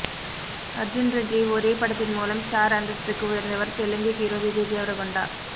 அர்ஜுன் ரெட்டி ஒரே படத்தின் மூலம் ஸ்டார் அந்தஸ்துக்கு உயர்ந்தவர் தெலுங்கு ஹீரோ விஜய் தேவரகொண்டா